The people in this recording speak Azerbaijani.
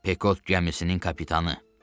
Pekot gəmisinin kapitanı.